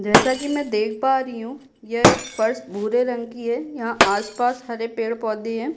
जैसा कि मैं देख पा रही हूँ यह एक फर्स भूरे रंग की है यहाँ आसपास हरे पेड़-पौधे हैं।